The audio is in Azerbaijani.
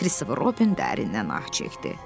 Kristofer Robin dərindən ah çəkdi.